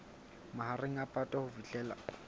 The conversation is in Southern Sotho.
mahareng a phato ho fihlela